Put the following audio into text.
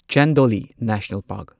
Chandoli national park